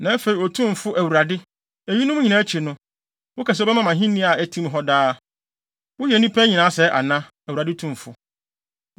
Na afei Otumfo Awurade, eyinom nyinaa akyi no, woka sɛ wobɛma me ahenni a ɛte hɔ daa. Woyɛ nnipa nyinaa sɛɛ ana, Awurade Tumfo?